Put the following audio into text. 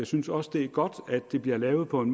synes også det er godt at det bliver lavet på en